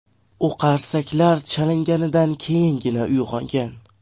U qarsaklar chalinganidan keyingina uyg‘ongan.